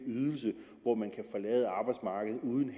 ydelse hvor man kan forlade arbejdsmarkedet uden